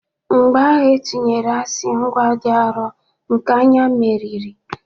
Mgbọ ahụ etinyere asii, nkwa dị arọ nke anya meriri.